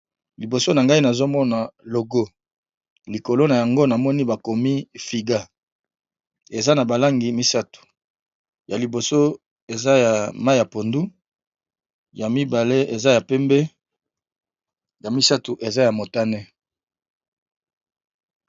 Liboso na ngai nazo mona logo, likolo nango namoni ba komi Figa. Eza na ba langi misato ya liboso eza ya mayi ya pondu, ya mibale eza ya pembe, ya misato eza ya motane.